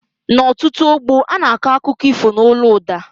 N' ọtụtụ ógbó ana akọ akụkọ ifo n' ólú ụda